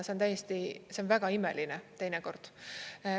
See on väga imeline teinekord.